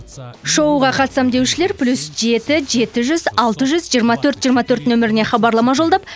шоуға қатысамын деушілер плюс жеті жеті жүз алты жүз жиырма төрт жиырма төрт нөміріне хабарлама жолдап